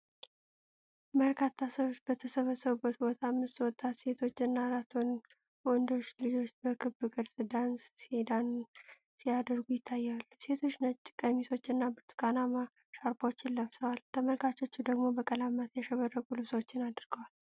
በርካታ ሰዎች በተሰበሰቡበት ቦታ፣ አምስት ወጣት ሴቶች እና አራት ወንዶች ልጆች በክብ ቅርጽ ዳንስ ሲያደርጉ ይታያሉ። ሴቶቹ ነጭ ቀሚሶችን እና ብርቱካናማ ሻርፖችን ለብሰዋል፤ ተመልካቾቹ ደግሞ በቀለማት ያሸበረቁ ልብሶች አድርገዋል።